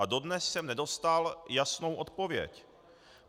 A dodnes jsem nedostal jasnou odpověď.